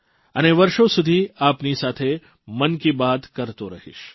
અને વર્ષો સુધી આપની સાથે મન કી બાત કરતો રહીશ